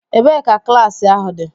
Ebee ka klaasị ahu dị?